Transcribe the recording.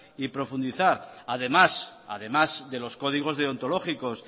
y profundizar además de los códigos deontológicos